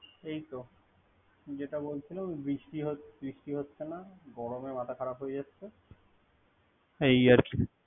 এইতে যেটা বলছিলাম বৃষ্টি হচ্ছে না। গরমে মাথা খারাপ হচ্ছে না। এই আরকি।